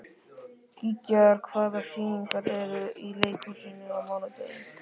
Gígjar, hvaða sýningar eru í leikhúsinu á mánudaginn?